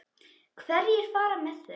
Hverjir fara með þau?